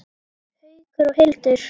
Haukur og Hildur.